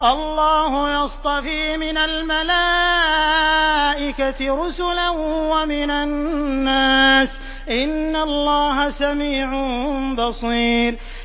اللَّهُ يَصْطَفِي مِنَ الْمَلَائِكَةِ رُسُلًا وَمِنَ النَّاسِ ۚ إِنَّ اللَّهَ سَمِيعٌ بَصِيرٌ